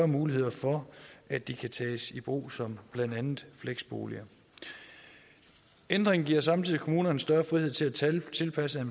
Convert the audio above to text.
muligheder for at de kan tages i brug som blandt andet fleksboliger ændringen giver samtidig kommunerne større frihed til til at tilpasse